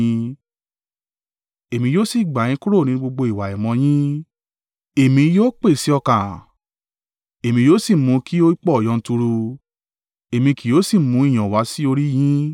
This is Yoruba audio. Èmi yóò sì gbà yín kúrò nínú gbogbo ìwà àìmọ́ yín. Èmi yóò pèsè ọkà, èmi yóò sì mú kí ó pọ̀ yanturu, èmi kì yóò sì mú ìyàn wá sí orí yín.